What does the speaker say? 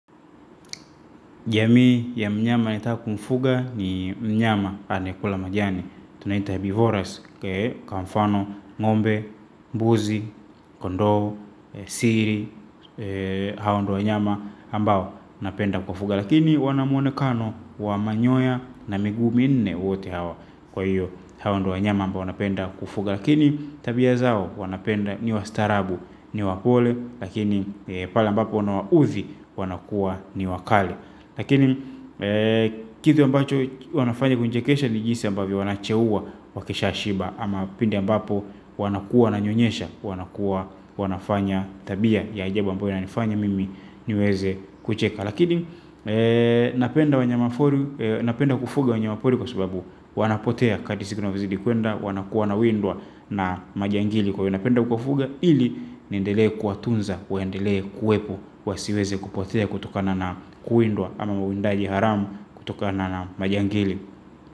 Jamii ya mnyama ninayetaka kumfuga ni mnyama anayekula majani. Tunaita herbivores, kwa mfano, ng'ombe, mbuzi, kondoo siri, hao ndio wanyama ambao napenda kuwafuga. Lakini wanamwonekano wa manyoya na miguu minne wote hawa. Kwa hiyo, hao ndiyo wanyama ambao napenda kufuga. Lakini tabia zao, wanapenda, ni wastaarabu, kuwa wapole, lakini pale ambapo wanawauzi wanakuwa wakali. Lakini kitu ambacho wnafanya kunichekesha ni pale ambapo kucheka. Lakini napenda kufuga wanyama pori kwa sababu wanapotea wakati siku na wanazidi kwenda. Wanakuwa wanawindwa na majangili, kwa hiyo wanafanya kufuga hili. Niendelee kuwatunza, waendelee kuwepo, nisiweze kupotea kutokana na kuwindwa ama mwindaji haramu kutokana na majangili.